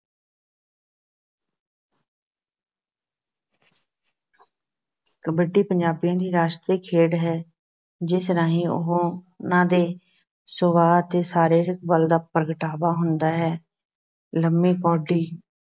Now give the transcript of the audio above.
ਕਬੱਡੀ ਪੰਜਾਬੀਆਂ ਦੀ ਰਾਸ਼ਟਰੀ ਖੇਡ ਹੈ ਜਿਸ ਰਾਹੀਂ ਉਹਨਾਂ ਦੇ ਸੁਭਾਅ ਅਤੇ ਸਰੀਰਿਕ ਬਲ ਦਾ ਪ੍ਰਗਟਾਵਾ ਹੁੰਦਾ ਹੈ, ਲੰਬੀ ਕੌਡੀ,